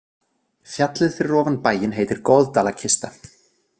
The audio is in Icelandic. Fjallið fyrir ofan bæinn heitir Goðdalakista.